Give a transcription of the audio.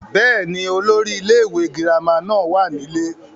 bẹ́ẹ̀ni, olórí ilé ìwé girama náà wà nílé